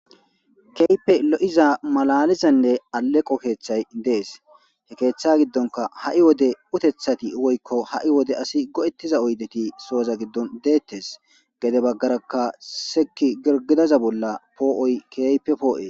Keehipe lo7iza malalizanne aleqo keeththay dees he keeththa giddonka ha7i wode utethati woykko ha7i wode asi go7ettiza oydeti sooza giddon deettes gede baggarakka seki girgidaza bolla poo7oy keype poo7e.